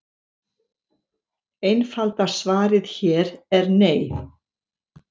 Einfalda svarið hér er nei.